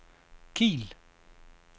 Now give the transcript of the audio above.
Kiel